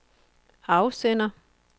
afsender